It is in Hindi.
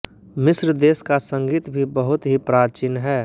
मिस्र देश का संगीत भी बहुत ही प्राचीन है